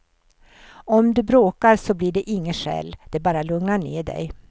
Om du bråkar så blir det inget skäll, de bara lugnar ner dig.